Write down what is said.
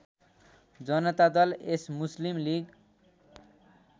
Janata Dal S Muslim league